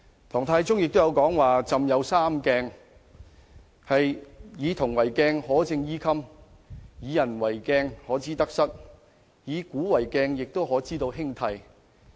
唐太宗曾說自己有"三鏡"："夫以銅為鏡，可以正衣冠；以古為鏡，可以知興替；以人為鏡，可以明得失。